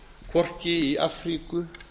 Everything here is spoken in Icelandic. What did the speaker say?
hvorki í afríku